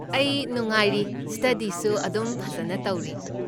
ꯑꯩ ꯅꯨꯡꯉꯥꯏꯔꯤ, ꯁ꯭ꯇꯥꯗꯤꯁꯨ ꯑꯗꯨꯝ ꯐꯖꯟꯅ ꯇꯧꯔꯤ꯫